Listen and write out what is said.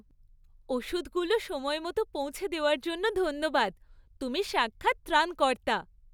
ওষুধগুলো সময়মতো পৌঁছে দেওয়ার জন্য ধন্যবাদ। তুমি সাক্ষাৎ ত্রাণকর্তা।